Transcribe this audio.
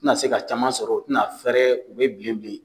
tɛna se ka caman sɔrɔ tɛna fɛrɛ u bɛ bin bin